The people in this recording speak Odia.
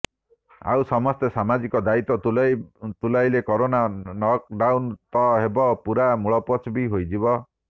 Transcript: ଆଉ ସମସ୍ତେ ସାମାଜିକ ଦାୟିତ୍ୱ ତୁଲାଇଲେ କରୋନା ନକଡାଉନ ତ ହେବ ପୁରା ମୂଳପୋଛ ବି ହୋଇଯିବ